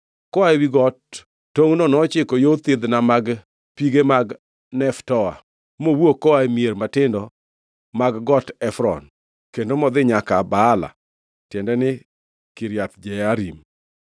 Koa ewi got, tongʼno nochiko yo thidhna mag pige mag Neftoa, mowuok koa e mier matindo mag Got Efron kendo modhi nyaka Baala (tiende ni, Kiriath Jearim).